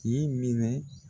Nin minɛ.